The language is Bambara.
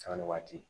Sanga ni waati